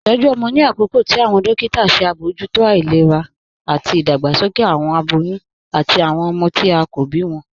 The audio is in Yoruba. Itọju ọmọ ni akọọ̀kà tí awọn dòkìtà ṣe abojútó ilẹ̀rà ati idàgbàsókè awọn abòyún ati awọn ọmọ tí a kò bí wọn.